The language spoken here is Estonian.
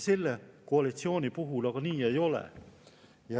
Selle koalitsiooni puhul see aga nii ei ole.